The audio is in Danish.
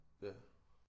Ja